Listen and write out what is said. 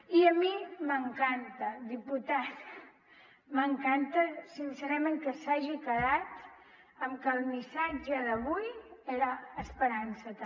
i a mi m’encanta diputat m’encanta sincerament que s’hagi quedat amb que el missatge d’avui era esperança també